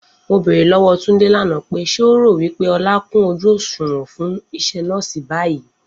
Mo bèrè lówó Túndé lànà pé, ṣé o rò wípé Ọlá kún ojú òṣùwọ̀n fún isé nọ́ọ̀si báyìí?